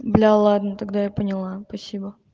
бля ладно тогда я поняла спасибо